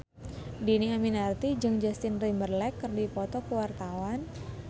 Dhini Aminarti jeung Justin Timberlake keur dipoto ku wartawan